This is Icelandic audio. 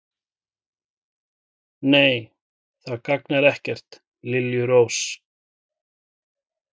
Nei, það gagnar ekkert, liljurós.